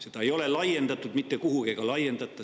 Seda ei ole mitte kuhugi laiendatud ega ka laiendata.